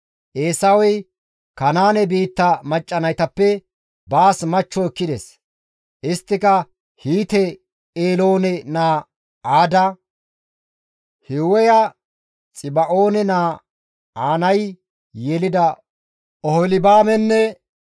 Eesawey Kanaane biitta macca naytappe baas machcho ekkides; isttika Hiite Eeloone naa Aada, Hiiweya Xiba7oone naa Aanay yelida Oholibaamenne